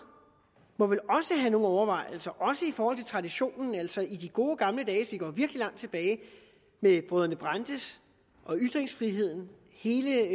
må vel også have nogle overvejelser også i forhold til traditionen altså i de gode gamle dage hvis vi går virkelig langt tilbage med brødrene brandes og ytringsfriheden hele